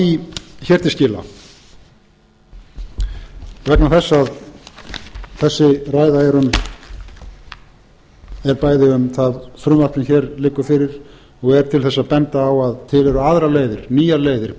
því hér til skila vegna þess að þessi ræða er bæði um það frumvarp sem hér liggur fyrir og er til þess að benda á að til eru aðrar leiðir nýjar leiðir